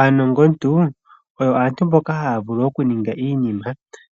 Aanongontu oyo aantu mboka ha ya vulu okuninga iinima